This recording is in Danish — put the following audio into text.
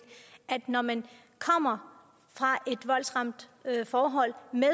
når man kommer fra et voldsramt forhold med